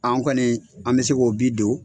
An kɔni an bi se k'o bi don